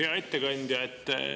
Hea ettekandja!